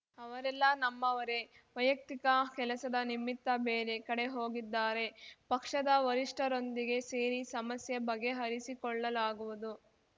ಅವರೆಲ್ಲ ನಮ್ಮವರೇ ವೈಯಕ್ತಿಕ ಕೆಲಸದ ನಿಮಿತ್ತ ಬೇರೆ ಕಡೆ ಹೋಗಿದ್ದಾರೆ ಪಕ್ಷದ ವರಿಷ್ಠರೊಂದಿಗೆ ಸೇರಿ ಸಮಸ್ಯೆ ಬಗೆಹರಿಸಿಕೊಳ್ಳಲಾಗುವುದು